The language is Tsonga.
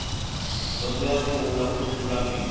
dyondzo ya pfuna ku sungula bindzu